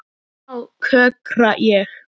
Já, kjökra ég.